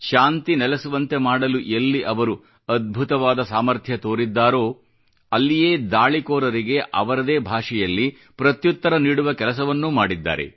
ಶಾಂತಿ ನೆಲೆಸುವಂತೆ ಮಾಡಲು ಎಲ್ಲಿ ಅವರು ಅದ್ಭುತವಾದ ಸಾಮಥ್ರ್ಯ ತೋರಿದ್ದಾರೋ ಅಲ್ಲಿಯೇ ದಾಳಿಕೋರರಿಗೆ ಅವರದೇ ಭಾಷೆಯಲ್ಲಿ ಪ್ರತ್ಯುತ್ತರ ನೀಡುವ ಕೆಲಸವನ್ನೂ ಮಾಡಿದ್ದಾರೆ